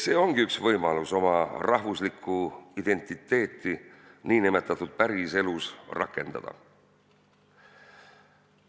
See ongi üks võimalus oma rahvuslikku identiteeti n-ö päriselus rakendada.